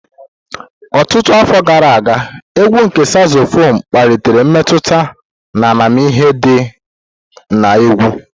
Ọtụtụ afọ gara aga, égwù nke Sazofonu kpalitere mmetụta na amamihe di na egwu.